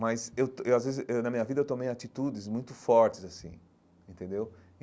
Mas eu, eu às vezes, eh na minha vida, eu tomei atitudes muito fortes, assim, entendeu?